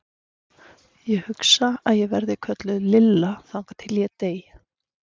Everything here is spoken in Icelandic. Ég hugsa að ég verði kölluð Lilla þangað til ég dey.